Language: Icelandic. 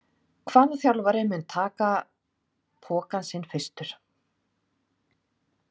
Spurning dagsins er: Hvaða þjálfari mun taka pokann sinn fyrstur?